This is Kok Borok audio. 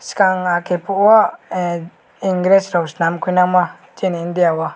shikang ake poro o engresh rok selam phoina mo sini india o.